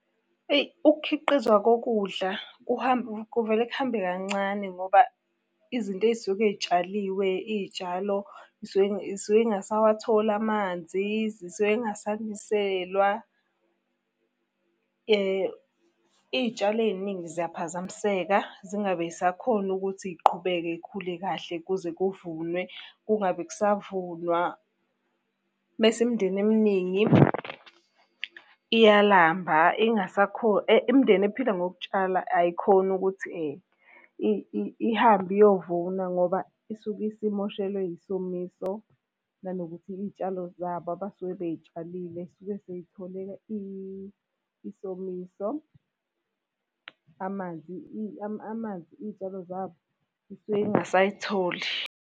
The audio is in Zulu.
Eyi ukukhiqizwa kokudla kuvele kuhambe kancane ngoba izinto ey'suke iy'tshaliwe, iy'tshalo zisuke iy'suke iy'ngasawatholi amanzi, zisuke iy'ngasaniselwa. Iy'tshalo ey'ningi ziyaphazamiseka, zingabe iy'sakhona ukuthi iy'qhubeke iy'khule kahle kuze kuvunwe, kungabe kusavunwa. Mese imindeni eminingi iyalamba imindeni ephila ngokutshala ayikhoni ukuthi ihambe iyovuna ngoba isuke isimoshelwe yisomiso. Nanokuthi iy'tshalo zabo abasuke bey'tshalile zisuke sey'thole isomiso. Amanzi amanzi, iy'tshalo zabo zisuke zingasay'tholi.